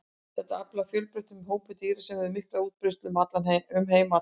Þetta er afar fjölbreyttur hópur dýra sem hefur mikla útbreiðslu um heim allan.